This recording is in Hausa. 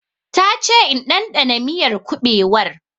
Ta che in dandana miyar kuɓewar